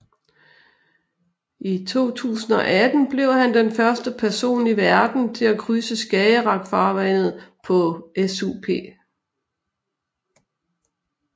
I 2018 blev han den første person i verden til at krydse Skagerrak farvandet på SUP